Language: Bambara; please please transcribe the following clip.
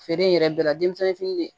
Feere in yɛrɛ bɛɛ la denmisɛnnin fini de